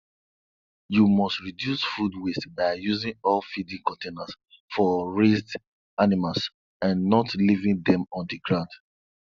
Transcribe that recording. you must reduce food waste by using all feeding containers for raised animals and not leaving them on the ground